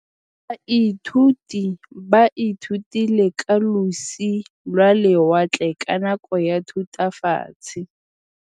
Baithuti ba ithutile ka losi lwa lewatle ka nako ya Thutafatshe.